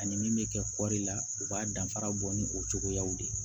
Ani min bɛ kɛ kɔɔri la u b'a danfara bɔ ni o cogoyaw de ye